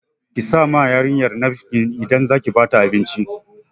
Ki sa ma yarinyar nafkin idan zaki ba ta abinci